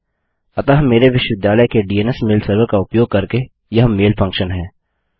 अतः मेरे विश्वविद्यालय के डीएनएस मेल सर्वर का उपयोग करके यह मेल फंक्शन है